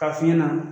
K'a f'i ɲɛna